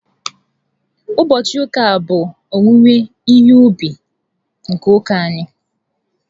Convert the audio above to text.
Ụbọchị ụka a bụ owuwe ihe ubi nke ụka anyị